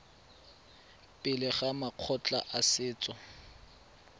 pele ga makgotla a setso